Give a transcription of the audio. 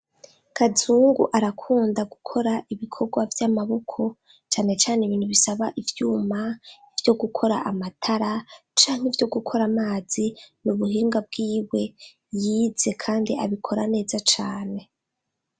Kazungu arakunda gukora ibikorwa vy'amaboko cane cane ibintu bisaba ivyuma vyo gukora amatara canke ivyo gukora amazi. Ni ubuhinga bwiwe yize kandi abikora neza cane.